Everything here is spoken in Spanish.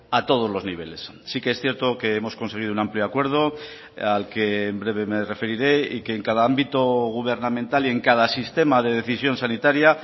a todos los niveles sí que es cierto que hemos conseguido un amplio acuerdo al que en breve me referiré y que en cada ámbito gubernamental y en cada sistema de decisión sanitaria